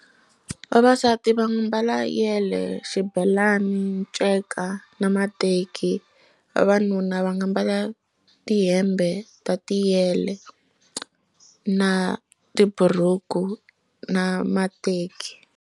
Vavasati va mbala yele, xibelani, nceka na mateki. Vavanuna va nga mbala tihembe ta tiyele na ti buruku na mateki.